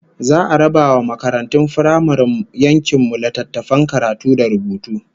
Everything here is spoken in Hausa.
Za'a raba wa makaratun firamaren yankin mu littattafan karatu da rubutu